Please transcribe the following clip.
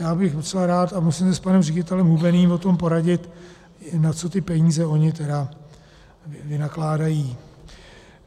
Já bych docela rád, a musím se s panem ředitelem Hubeným o tom poradit, na co ty peníze oni tedy vynakládají.